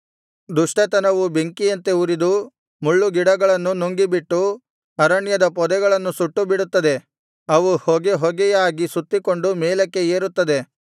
ದುಷ್ಟತನವು ಬೆಂಕಿಯಂತೆ ಉರಿದು ಮುಳ್ಳು ಗಿಡಗಳನ್ನು ನುಂಗಿಬಿಟ್ಟು ಅರಣ್ಯದ ಪೊದೆಗಳನ್ನು ಸುಟ್ಟು ಬಿಡುತ್ತದೆ ಅವು ಹೊಗೆ ಹೊಗೆಯಾಗಿ ಸುತ್ತಿಕೊಂಡು ಮೇಲಕ್ಕೆ ಏರುತ್ತದೆ